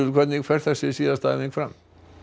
hvernig fer þessi síðasta æfing fram